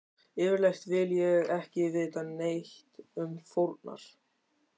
Yfirleitt vil ég ekki vita neitt um fórnar